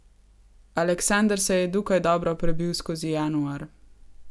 Aleksander se je dokaj dobro prebil skozi januar.